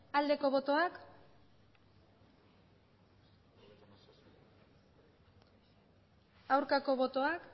aldeko botoak aurkako botoak